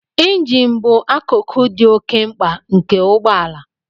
Injin bụ akụkụ dị oke mkpa nke ụgbọ ala